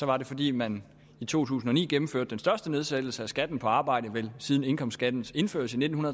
var det fordi man i to tusind og ni gennemførte den største nedsættelse af skatten på arbejde vel siden en indkomstskattens indførelse i nitten